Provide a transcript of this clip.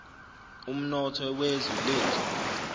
umnotho wezwe lethu